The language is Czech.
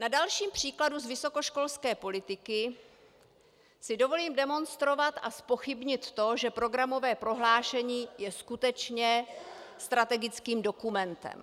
Na dalším příkladu z vysokoškolské politiky si dovolím demonstrovat a zpochybnit to, že programové prohlášení je skutečně strategickým dokumentem.